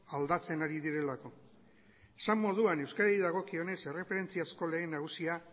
aldatzen ari direlako esan moduan euskarari dagokionez erreferentziazko lege nagusia